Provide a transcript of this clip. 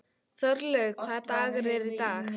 Þorlaug, hvaða dagur er í dag?